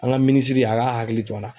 An ka minisiri a ka hakili to a la.